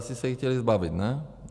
Asi se jí chtěli zbavit, ne?